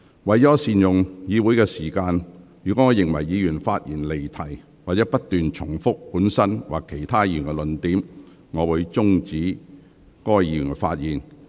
為了善用議會時間，若我認為議員發言離題或不斷重複本身或其他議員的論點，我會終止該議員發言。